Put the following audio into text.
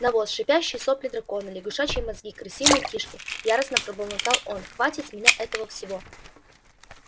навоз шипящие сопли дракона лягушачьи мозги крысиные кишки яростно бормотал он хватит с меня этого всего